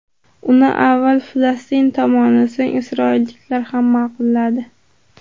Uni avval Falastin tomoni, so‘ng isroilliklar ham ma’qulladi.